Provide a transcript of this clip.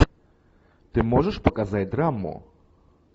ты можешь показать драму